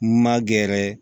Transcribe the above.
Ma gɛrɛ